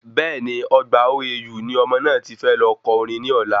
Bẹ́ẹ̀ni Ọgbà OAU ni ọmọ náà ti fẹ́ lọ ko orin ní ọ̀la